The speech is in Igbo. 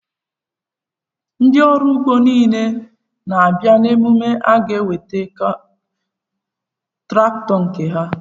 Ndị ọrụ ugbo niile na-abịa emume a ga-eweta traktọ nke ha?